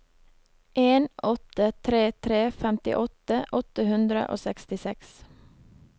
en åtte tre tre femtiåtte åtte hundre og sekstiseks